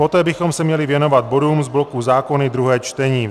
Poté bychom se měli věnovat bodům z bloku zákony druhé čtení.